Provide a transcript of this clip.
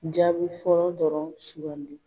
Jaabi fɔlɔ dɔrɔn sugandi.